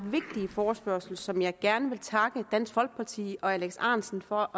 vigtige forespørgsel som jeg gerne vil takke dansk folkeparti og herre alex ahrendtsen for